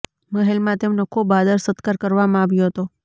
મહેલમાં તેમનો ખૂબ આદર સત્કાર કરવામાં આવ્યો હતો